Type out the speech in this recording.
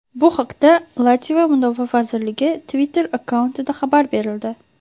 Bu haqda Latviya mudofaa vazirligi Twitter-akkauntida xabar berildi .